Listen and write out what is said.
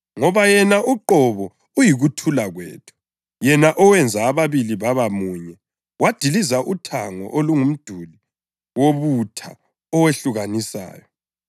Ngoba yena uqobo uyikuthula kwethu, yena owenza ababili baba munye, wadiliza uthango olungumduli wobutha owehlukanisayo,